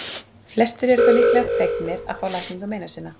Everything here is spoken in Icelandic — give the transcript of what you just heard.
Flestir eru þó líklega fegnir að fá lækningu meina sinna.